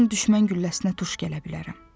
Hər an düşmən gülləsinə tuş gələ bilərəm.